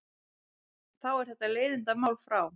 Þá er þetta leiðindamál frá.